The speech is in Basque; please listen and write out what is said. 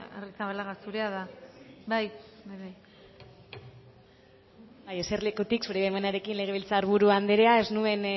arrizabalaga zurea da hitza bai eserlekurik zure baimenarekin legebiltzar buru anderea